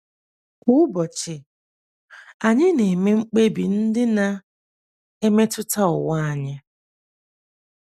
Kwa ụbọchị, anyị na - eme mkpebi ndị na - emetụta ụwa anyị.